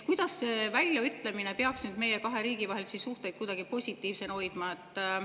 Kuidas see väljaütlemine peaks nüüd meie riikide vahelisi suhteid positiivsena hoidma?